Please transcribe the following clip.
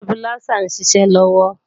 Stabiláísà ń ṣiṣẹ́ lọ́wọ́